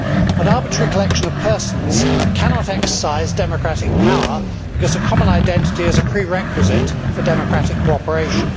An arbitrary collection of persons cannot exercise democratic power, because a common identity is a prerequisite for democratic cooperation.